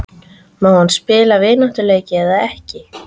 Má hann spila vináttuleiki eða ekki?